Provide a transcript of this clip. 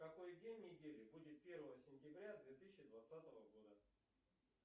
какой день недели будет первого сентября две тысячи двадцатого года